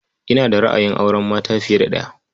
Ina da ra'ayin auren mata fiye da ɗaya.